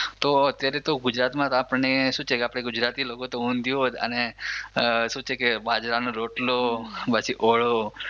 તો અત્યારે તો ગુજરાતમાં જ આપણને શું છે કે આપણે ગુજરાતી લોકોતો ઊંધિયું જ અને બાજરાનો રોટલો પછી ઓળો